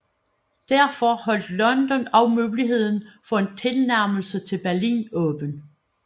Derfor holdt London også muligheden for en tilnærmelse til Berlin åben